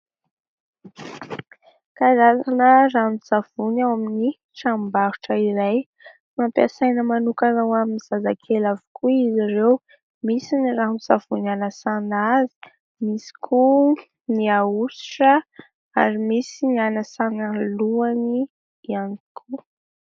Karazana ranon-tsavony ao amin' ny tranombarotra iray. Nampiasaina manokana ho amin' ny zazakely avokoa izy ireo. Misy ny ranon-tsavony anasana azy, misy koa ny ahosotra ary misy ny anasana ny lohany ihany koa.